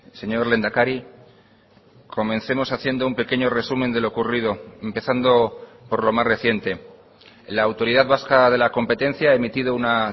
señor lehendakari comencemos haciendo un pequeño resumen de lo ocurrido empezando por lo más reciente la autoridad vasca de la competencia ha emitido una